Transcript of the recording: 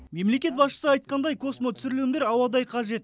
мемлекет басшысы айтқандай космотүсірілімдер ауадай қажет